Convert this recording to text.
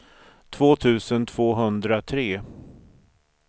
två tusen tvåhundratre